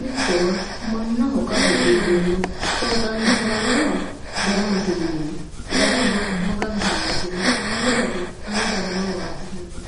mittowa mannaho qarru iillenna xooqani haranoha daramate ,darama Maganu holosenna bushate, ane darama waajjishanoe.